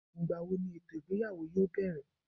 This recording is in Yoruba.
ngbawo ní etò ìgbéyàwó yóò berè